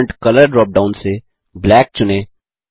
font colour drop down से black चुनें